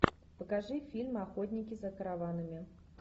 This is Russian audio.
покажи фильм охотники за караванами